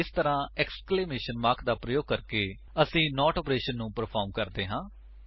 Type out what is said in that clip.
ਇਸ ਤਰ੍ਹਾਂ exclamation mark ਦਾ ਪ੍ਰਯੋਗ ਕਰਕੇ ਅਸੀ ਨੋਟ ਆਪਰੇਸ਼ਨ ਨੂੰ ਪਰਫ਼ਾਰ੍ਮ ਕਰਦੇ ਹਾਂ